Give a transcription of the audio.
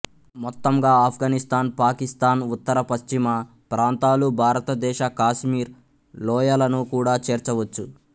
మొత్తంగా ఆఫ్ఘనిస్తాన్ పాకిస్తాన్ ఉత్తర పశ్చిమ ప్రాంతాలు భారతదేశ కాశ్మీర్ లోయలను కూడా చేర్చవచ్చు